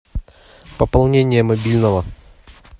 пополнение мобильного